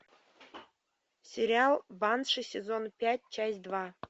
сериал банши сезон пять часть два